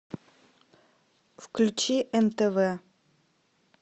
включи нтв